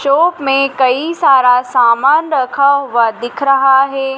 Chop में कई सारा सामान रखा हुआ दिख रहा है।